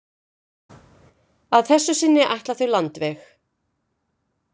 Að þessu sinni ætla þau landveg.